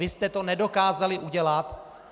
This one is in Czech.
Vy jste to nedokázali udělat.